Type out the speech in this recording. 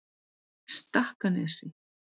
Stakkanesi